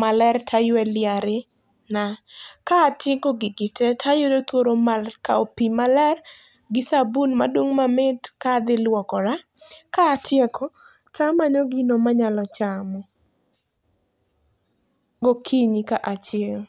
maler, toaywe liarena. Ka atieko gigi tee, to ayudo thuolo mar kao pii maler, gi sabun madung mamit, ka adhi lwokora. Kaatieko, tamanyo gino manyalo chamo, gokinyi ka achiewo.